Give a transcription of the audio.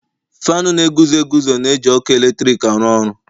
Faanụ na-eguzo eguzo na-eji ọkụ eletrik aru oru.